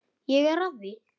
Ég er að því.